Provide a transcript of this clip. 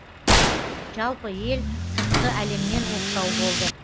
жалпы ел сыртқы әлемнен оқшау болды